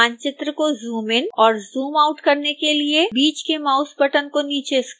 मानचित्र को जूमइन और जूमआउट करने के लिए बीच के माउस बटन को नीचे स्क्रोल करें